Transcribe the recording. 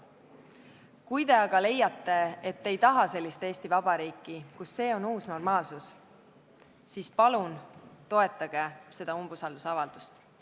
Kui te aga leiate, et te ei taha Eesti Vabariiki, kus see on uus normaalsus, siis palun toetage umbusalduse esitamist.